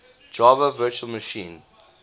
java virtual machine